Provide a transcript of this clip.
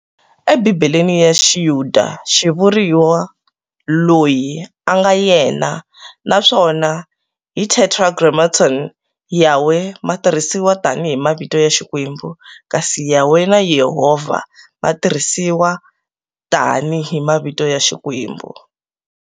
E Bhibheleni ra xiyuda xivuriwa, Loyi anga Yena, naswona hi tetragrammaton, Yaweh, ma tirhisiwa tani hi mavito ya Xikwembu, kasi Yahweh na Yehovah ma tirhisiwa tani hi mavito ya xikwembu.